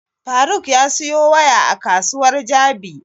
Faruk ya siyo waya a kasuwar jabi